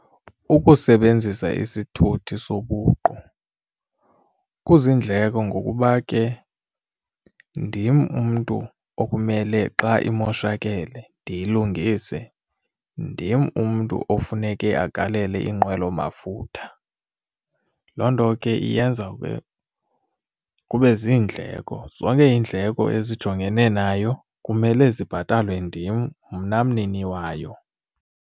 Ukusebenzisa isithuthi sobuqu kuzindleko ngokuba ke ndim umntu okumele xa imoshakele ndiyilungise, ndim umntu ofuneke agalele inqwelomafutha. Loo nto ke iyenza ke kube ziindleko, zonke iindleko ezijongene nayo kumele zibhatalwe ndim mna mnini wayo.